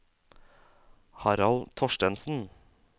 Harald Thorstensen